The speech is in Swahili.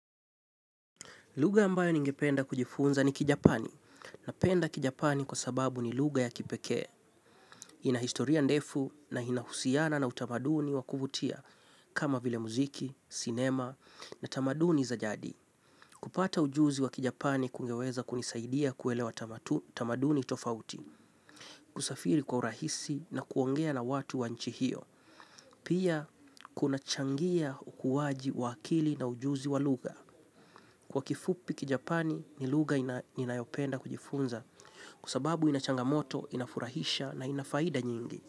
Lugha ambayo ningependa kujifunza ni kijapani. Napenda kijapani kwa sababu ni lugha ya kipekee. Ina historia ndefu na inahusiana na utamaduni wa kuvutia. Kama vile muziki, sinema na tamaduni za jadi. Kupata ujuzi wa kijapani kungeweza kunisaidia kuelewa tamaduni tofauti. Kusafiri kwa urahisi na kuongea na watu wa nchi hio. Pia kunachangia ukuwaji wa akili na ujuzi wa lugha. Kwa kifupi kijapani ni lugha inayopenda kujifunza kwa sababu ina changamoto, inafurahisha na ina faida nyingi.